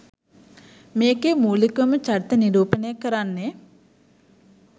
මේකෙ මූලිකවම චරිත නිරුපණය කරන්නෙ